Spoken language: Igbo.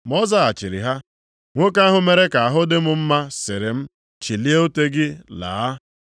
Ma ọ zaghachiri ha, “Nwoke ahụ mere ka ahụ dị m mma sịrị m, ‘Chilie ute gị laa.’ ”